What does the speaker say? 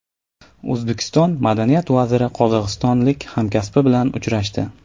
O‘zbekiston madaniyat vaziri qozog‘istonlik hamkasbi bilan uchrashdi.